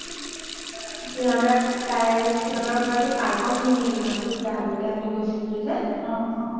সিহতৰ ঘৰতে পাৰ্কন লিঙ্গি নামটো যাৰ ঘৰলে আমি গৈছিলো যে